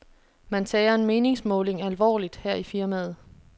Man tager en meningsmåling alvorligt her i firmaet.